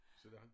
Sådan